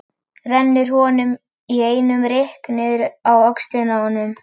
Rennir honum í einum rykk niður á öxlina á honum.